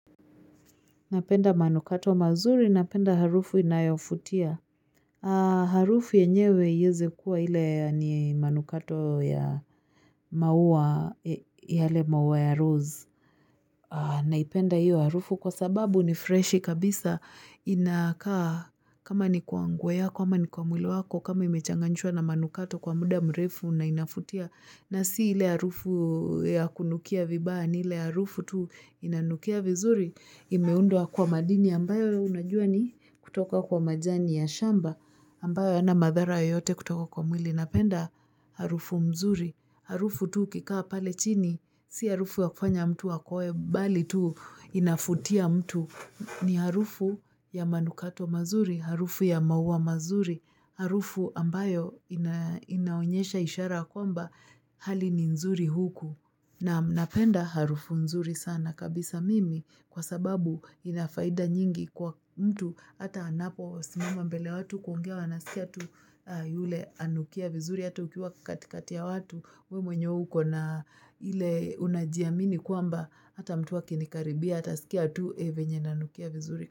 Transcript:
Napenda manukato mazuri, napenda harufu inayofutia. Harufu yenyewe ieze kuwa ile ni manukato ya maua, yale maua ya rose. Naipenda hiyo harufu kwa sababu ni freshi kabisa. Inakaa kama ni kwa nguo yako, ama ni kwa mwili yako, kama imechanganishwa na manukato kwa muda mrefu na inafutia. Na si ile arufu ya kunukia vibaya ni ile arufu tu inanukia vizuri, imeundwa kwa madini ambayo unajua ni kutoka kwa majani ya shamba ambayo hayana madhara yote kutoka kwa mwili na penda harufu mzuri. Harufu tu ukikaa pale chini, si harufu wa kufanya mtu akoe, bali tu inafutia mtu. Ni harufu ya manukato mazuri, harufu ya maua mazuri, harufu ambayo inaonyesha ishara kwamba hali ni nzuri huku. Naam napenda harufu nzuri sana kabisa mimi kwa sababu inafaida nyingi kwa mtu hata anapo simama mbele ya watu kuongea wana sikia tu yule anukia vizuri hata ukiwa katikati ya watu we mwenyewe uko na ile unajiamini kwamba hata mtu akinikaribia hata sikia tu venye nanukia vizuri.